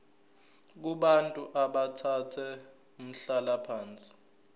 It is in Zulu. kubantu abathathe umhlalaphansi